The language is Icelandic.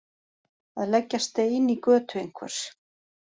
Að leggja stein í götu einhvers